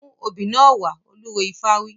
Mú obì náà wá! Olúwo ifá wí.